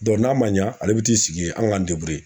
n'a ma ɲɛ ale bi t'i sigi ye an k'an